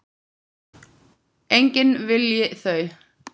Enginn vilji þau.